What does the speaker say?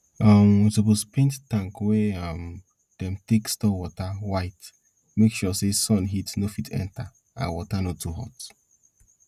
um we suppose paint tank wey um dem take store water white make sure sun heat no fit enter and water no too hot